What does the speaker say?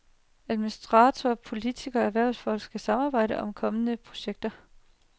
Administratorer, politikere og erhvervsfolk skal samarbejde om kommende projekter.